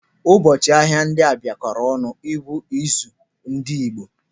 Ụbọchị ahịa ndị a bịa kọọrọ ọnụ bụ izu ndị Igbo.